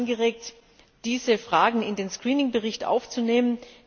Es wurde angeregt, diese Fragen in den Screening Bericht aufzunehmen.